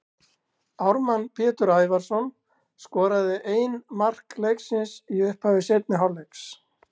Ármann Pétur Ævarsson skoraði ein mark leiksins í upphafi seinni hálfleiks.